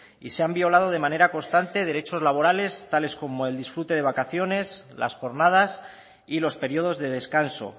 y se han violado de manera constante derechos laborales tales como el disfrute de vacaciones las jornadas y los periodos de descanso